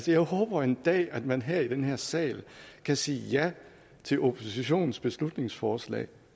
jeg håber en dag at man her i den her sal kan sige ja til oppositionens beslutningsforslag